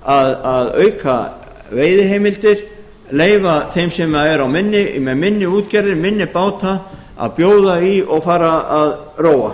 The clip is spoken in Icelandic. segi að auka veiðiheimildir leyfa þeim sem eru með minni útgerðir og minni báta að bjóða í og fara að róa